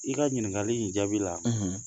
I ka ɲininkali in jaabi la